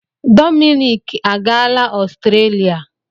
Dominic agaala Ọstrelia.